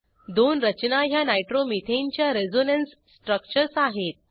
दोन रचना ह्या नायट्रोमिथेन च्या रेझोनन्स स्ट्रक्चर्स आहेत